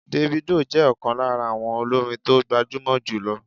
Davido jẹ́ ọ̀kan lára àwọn olórin tó gbajúmọ̀ jùlọ